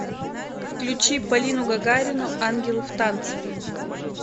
включи полину гагарину ангелы в танце